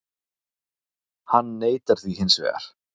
Hann neitar því hins vegar